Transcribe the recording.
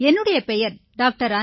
என்னுடைய பெயர் டா